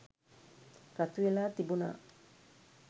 රතුවෙලා තිබුණා.